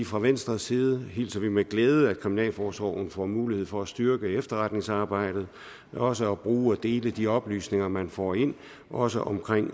fra venstres side hilser vi med glæde at kriminalforsorgen får mulighed for at styrke efterretningsarbejdet og også at bruge og dele de oplysninger man får ind også omkring